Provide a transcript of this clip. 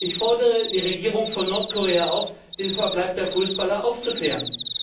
Ich fordere die Regierung von Nordkorea auf, den Verbleib der Fußballer aufzuklären.